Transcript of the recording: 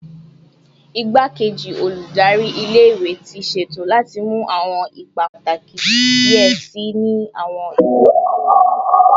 Igbakeji Oludari ile iwe ti ṣeto lati mu awọn ipa pataki diẹ sii ni awọn iṣẹ ile-iwe iwaju